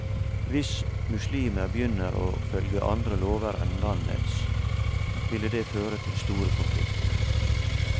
Hvis muslimer begynner å følge andre lover enn landets, ville det føre til store konflikter.